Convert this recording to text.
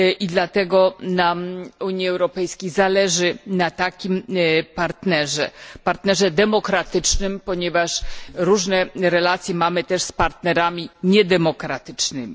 Dlatego nam, Unii Europejskiej, zależy na takim partnerze, partnerze demokratycznym, ponieważ mamy też różne relacje z partnerami niedemokratycznymi.